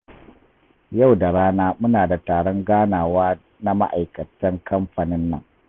Yau da rana muna da taron ganawa na ma'aikatan kamfanin nan